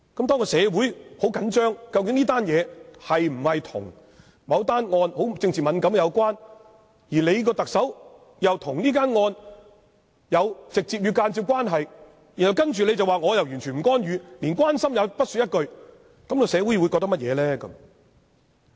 當社會十分緊張這件事是否跟某宗政治敏感的案件有關，而特首又跟這宗案件有直接和間接的關係，然後特首說自己完全不會干預，連關心也不說一句，社會會怎麼想呢？